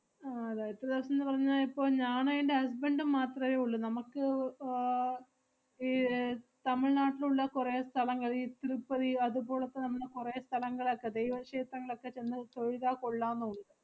അഹ് അത് എത്ര ~വസം ~ന്ന് പറഞ്ഞാ ഇപ്പൊ ഞാണ് എന്‍റെ husband ഉം മാത്രവേ ഒള്ള്. നമ്മക്ക് വ്~ ആഹ് ഈ ഏർ തമിഴ് നാട്ടിലുള്ള കൊറേ സ്ഥലങ്ങള്, ഈ തിരുപ്പതി അതുപോളൊക്കെ നമ്മള് കൊറേ സ്ഥലങ്കളക്കെ ദൈവ ഷേത്രങ്ങളൊക്കെ ചെന്ന് തൊഴുതാ കൊള്ളാംന്ന് ഉണ്ട്.